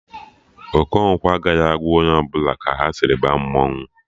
Okonkwo agaghị agwa onye ọbụla ka ha sịrị baa mmanwụ